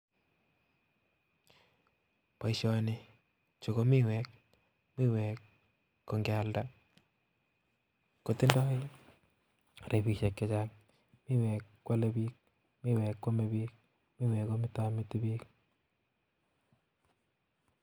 Boishoni, Chu ko miwek, miwek ko ingealdaa kotindoi rabisiek chechang. miwek kwome biik ,miwek komitomiti biiik